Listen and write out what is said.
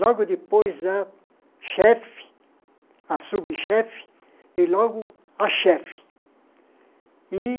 Logo depois, a chefe, a subchefe, e logo a chefe.